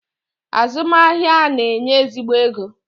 Azum ahia a na-enye ezigbo ego.